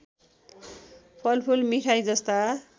फलफुल मिठाई जस्ता